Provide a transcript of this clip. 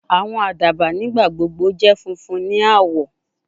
Awọn adaba nigbagbogbo jẹ funfun ni awọ